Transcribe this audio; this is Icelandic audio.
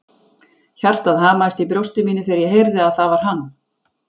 Hjartað hamaðist í brjósti mínu þegar ég heyrði að það var hann.